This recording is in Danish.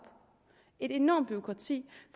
et enormt bureaukrati